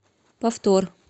повтор